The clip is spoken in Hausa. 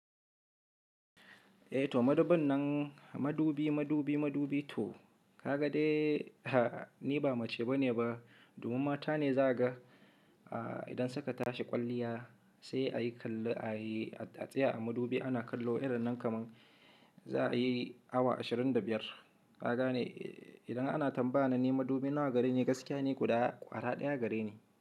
Eh to madubin nan madubi madubi madubi to ka ga dai ni ba mace bane ba, domin mata ne za ka ga idan saka tashi kwalliya sai a yi kallo a yi a tsaya a madubi ana kallo irin nan kaman za a yi awa ashirin da biyar. Ka gane idan ana tambaya na ne madubi nawa gare ni gaskiya ne guda kwara ɗaya gare ni.